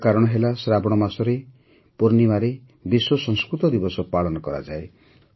ତାର କାରଣ ହେଲା ଶ୍ରାବଣ ମାସର ପୂର୍ଣ୍ଣିମାରେ ବିଶ୍ୱ ସଂସ୍କୃତ ଦିବସ ପାଳନ କରାଯାଏ